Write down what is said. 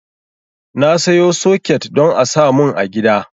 Na sayo soket don a samun a gida